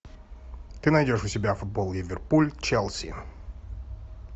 ты найдешь у себя футбол ливерпуль челси